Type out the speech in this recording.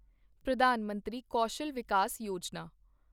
Pradhan Mantri Kaushal Vikas Yojana